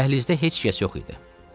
Dəhlizdə heç kəs yox idi.